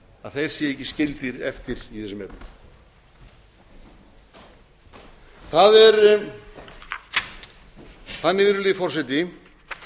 að þeir séu ekki skildir eftir í þessum efnum það er þannig virðulegi forseti